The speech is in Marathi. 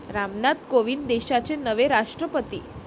रामनाथ कोविंद देशाचे नवे राष्ट्रपती